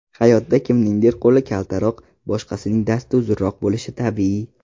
Hayotda kimningdir qo‘li kaltaroq, boshqasining dasti uzunroq bo‘lishi tabiiy.